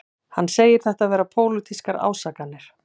Hann segir þetta vera pólitískar ásakanir